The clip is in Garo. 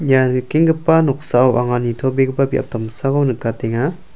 ia nikenggipa noksao anga nitobegipa biap damsako nikatenga.